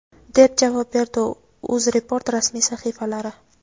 deb javob berdi u. UzReport rasmiy sahifalari:.